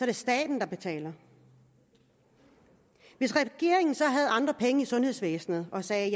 er staten der betaler hvis regeringen så havde andre penge i sundhedsvæsenet og sagde